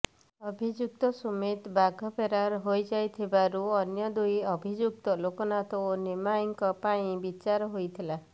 ଅଭିଯୁକ୍ତ ସୁମିତ ବାଘ ଫେରାର ହୋଇଯାଇଥିବାରୁ ଅନ୍ୟ ଦୁଇ ଅଭିଯୁକ୍ତ ଲୋକନାଥ ଓ ନିମେଇଁଙ୍କ ପାଇଁ ବିଚାର ହୋଇଥିଲା